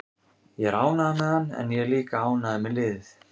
Ég er ánægður með hann en ég er líka ánægður með liðið.